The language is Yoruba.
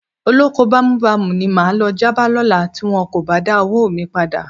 Olóko bámúbamù ni máa lọ já bá lọ́la tí wọn kò bá dáwó mi padà.